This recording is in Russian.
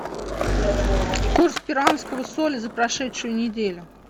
курс перуанского соля за прошедшую неделю